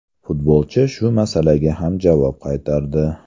Futbolchi shu masalaga ham javob qaytardi.